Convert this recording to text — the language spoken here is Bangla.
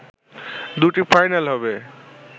দুটি ফাইনাল হবে